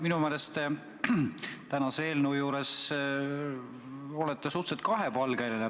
Minu meelest te olete tänasest eelnõust rääkides suhteliselt kahepalgeline.